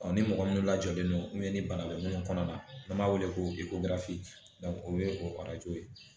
ni mɔgɔ min lajɔlen don ni bana bɛ mun kɔnɔ na n'an b'a wele ko o ye o ye